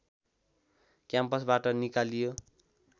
क्याम्पसबाट निकालियो